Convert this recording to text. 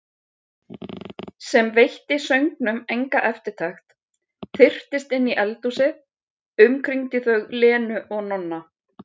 Sem veitti söngnum enga eftirtekt, þyrptist inn í eldhúsið, umkringdi þau Lenu og Nonna.